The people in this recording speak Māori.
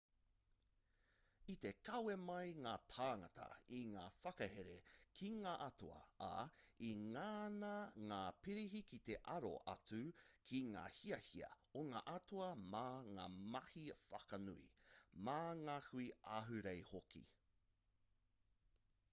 i te kawe mai ngā tāngata i ngā whakahere ki ngā atua ā i ngana ngā pirihi ki te aro atu ki ngā hiahia o ngā atua mā ngā mahi whakanui mā ngā hui ahurei hoki